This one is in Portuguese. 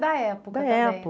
Da época